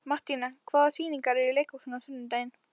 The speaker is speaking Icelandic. Mattíana, hvaða sýningar eru í leikhúsinu á sunnudaginn?